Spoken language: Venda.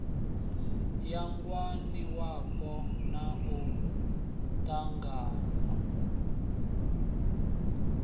ya ngwaniwapo na u ṱanganywa